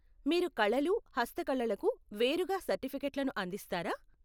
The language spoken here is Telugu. మీరు కళలు, హస్తకళలకు వేరుగా సర్టిఫికేట్లను అందిస్తారా?